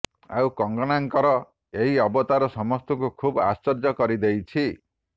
ଆଉ କଙ୍ଗନାଙ୍କର ଏହି ଅବତାର ସମସ୍ତଙ୍କୁ ଖୁବ ଆଶ୍ଚର୍ଯ୍ୟ କରିଦେଇଛି